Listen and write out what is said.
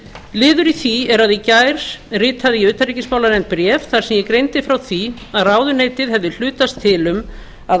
liður í því er að í gær ritaði ég utanríkismálanefnd bréf þar sem ég greindi frá því að ráðuneytið hefði hlutast til um að